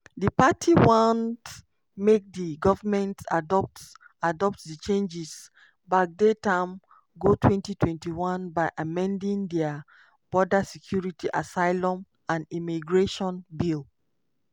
di party want make di government adopt adopt di changes backdate am go 2021 by amending dia border security asylum and immigration bill